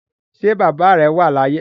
Ṣé bàbá rẹ̀ wà láàyè